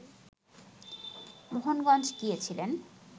মোহনগঞ্জ গিয়েছিলেন